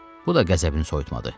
Bu da qəzəbini soyutmadı.